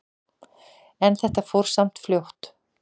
En þetta fór samt fljótt.